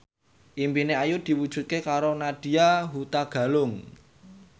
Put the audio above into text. impine Ayu diwujudke karo Nadya Hutagalung